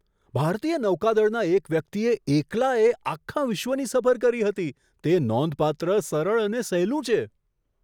ભારતીય નૌકાદળના એક વ્યક્તિએ એકલાએ આખા વિશ્વની સફર કરી હતી. તે નોંધપાત્ર, સરળ અને સહેલું છે!